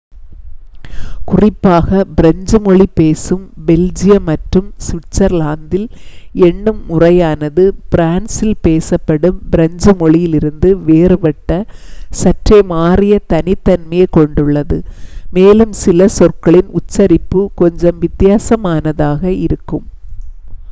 குறிப்பாக பிரெஞ்சு மொழி பேசும் பெல்ஜியம் மற்றும் சுவிட்சர்லாந்தில் எண்ணும் முறையானது பிரான்சில் பேசப்படும் பிரெஞ்சு மொழியிலிருந்து வேறுபட்ட சற்றே மாறிய தனித்தன்மையைக் கொண்டுள்ளது மேலும் சில சொற்களின் உச்சரிப்பு கொஞ்சம் வித்தியாசமானதாக இருக்கும்